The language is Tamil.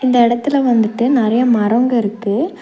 இந்த எடத்துல வந்துட்டு நெறைய மரோங்க இருக்கு.